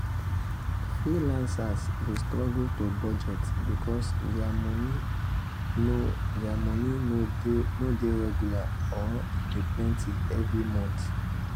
freelancers dey struggle to budget because dia moni no dia moni no dey regular or dey plenty every mont.